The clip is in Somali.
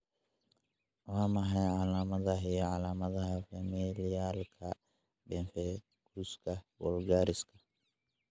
Waa maxay calaamadaha iyo calaamadaha Familialka pemphiguska vulgariska?